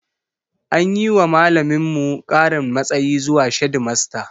An yi wa malaminmu ƙarin matsayi zuwa shedimasta